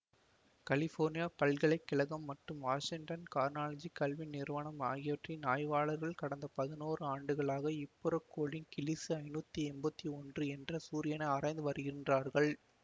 California பல்கலை கழகம் மற்றும் வாசிங்டன் கார்னர்ஜி கல்வி நிறுவனம் ஆகியவற்றின் ஆய்வாளர்கள் கடந்த பதினோரு ஆண்டுகளாக இப்புறக்கோளின் கிளீசு ஐநூத்தி எம்பத்தி ஒன்று என்ற சூரியனை ஆராய்ந்து வருகின்றார்கள்